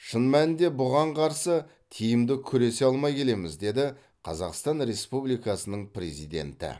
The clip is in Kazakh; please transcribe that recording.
шын мәнінде бұған қарсы тиімді күресе алмай келеміз деді қазақстан республикасының президенті